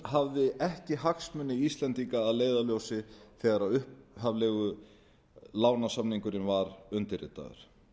hafði ekki hagsmuni íslendinga að leiðarljósi þegar upphaflegi lánasamningurinn var undirritaður